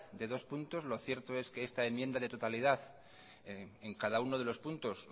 de dos puntos lo cierto es que es esta enmienda de totalidad en cada uno de los puntos